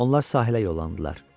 Onlar sahilə yollandılar.